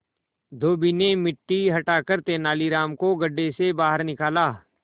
धोबी ने मिट्टी हटाकर तेनालीराम को गड्ढे से बाहर निकाला